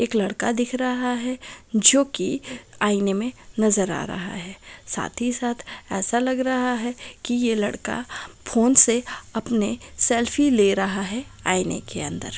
एक लड़का दिख रहा है जो की आईने में नजर आ रहा है साथ ही साथ ऐसा लग रहा है कि ये लड़का फोन से अपने सेल्फी ले रहा है आईने के अंदर।